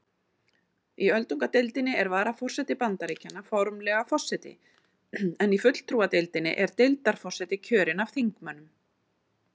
Í öldungadeildinni er varaforseti Bandaríkjanna formlega forseti en í fulltrúadeildinni er deildarforseti kjörinn af þingmönnunum.